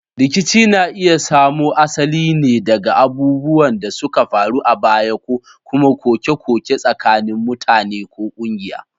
Rikici na iya samo asali ne daga abubuwan da suka faru a baya ko kuma koke-koke tsakanin mutane ko kungiya.